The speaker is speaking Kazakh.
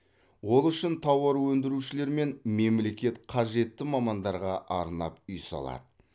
ол үшін тауар өндірушілер мен мемлекет қажетті мамандарға арнап үй салады